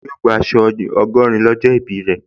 Yóò gbà aṣọ ọgọ́rin lọ́jọ́ ìbí rẹ̀